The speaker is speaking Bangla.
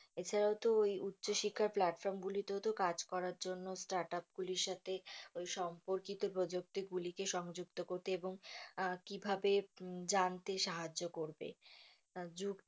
এছাড়াও তো ওই উচ্চ শিক্ষার platform গুলিতেও তো কাজ করার জন্য startup গুলির সাথে ওই সম্পর্কিত প্রযুক্তি গুলিকে সংযুক্ত করতে এবং কিভাবে জানতে সাহায্য করবে।